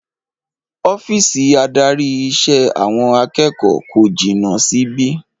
Ọ́fíìsì adarí ìṣe àwọn akẹ́kọ̀ọ́ kò jìnà síbí